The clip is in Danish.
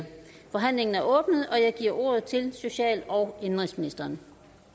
forhandlingen er åbnet og jeg giver ordet til social og indenrigsministeren